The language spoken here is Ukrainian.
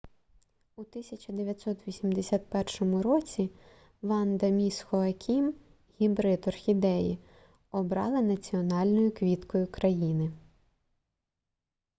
у 1981 році ванда міс хоакім гібрид орхідеї обрали національною квіткою країни